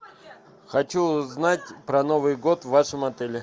хочу узнать про новый год в вашем отеле